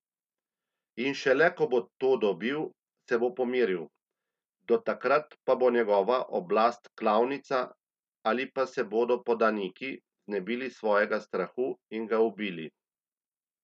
In šele ko bo to dobil, se bo pomiril, do takrat pa bo njegova oblast klavnica ali pa se bodo podaniki znebili svojega strahu in ga ubili.